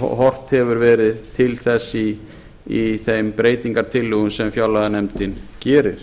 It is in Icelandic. horft hefur verið til þess í þeim breytingartillögum sem fjárlaganefndin gerir